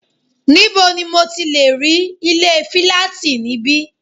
Níbo ni mo ti lẹ̀ rí ilé fílátì níbí?